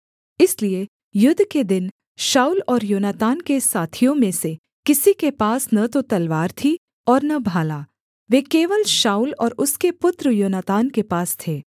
इसलिए युद्ध के दिन शाऊल और योनातान के साथियों में से किसी के पास न तो तलवार थी और न भाला वे केवल शाऊल और उसके पुत्र योनातान के पास थे